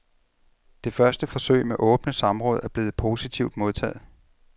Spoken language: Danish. Det første forsøg med åbne samråd er blevet positivt modtaget.